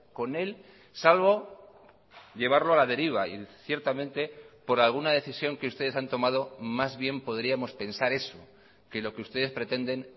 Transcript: con él salvo llevarlo a la deriva y ciertamente por alguna decisión que ustedes han tomado más bien podríamos pensar eso que lo que ustedes pretenden